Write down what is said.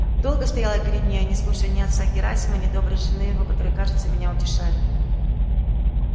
долго стоял я перед нею не слушая ни отца герасима ни доброй жены его который кажется меня утешали